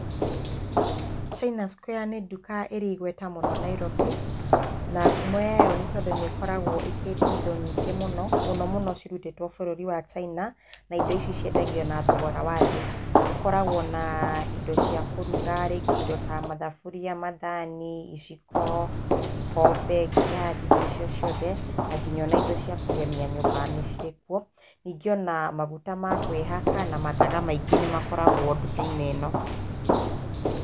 China Square nĩ nduka ĩrĩ igweta mũno Nairobi, na ngumo yayo nĩ tondũ nĩ ĩkoragwo ĩkĩendia indo nyingĩ mũno, mũno mũno cirutĩtwo bũrũri wa China, na indo ici ciendagio na thogora wa thĩ. Ũkoragwo na indo cia kũruga, rĩngĩ indo ta mathaburia, mathani, iciko, ikombe, ngirathi, indo icio ciothe, na nginya indo cia kũgemia nyũmba nĩ cirĩ kuo. Ningĩ o na maguta ma kwĩhaka na mathaga maingĩ nĩ makoragwo nduka-inĩ ĩno.